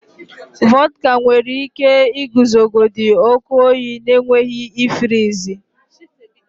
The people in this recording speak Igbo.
Vodka nwere ike iguzogide oke oyi na-enweghị ifriizi